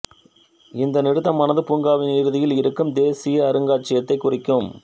இந்த நிறுத்தமானது பூங்காவின் இறுதியில் இருக்கும் தேசிய அருங்காட்சியகத்தைக் குறிக்கும்